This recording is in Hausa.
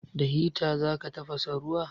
Da hita za ka tafasa ruwa?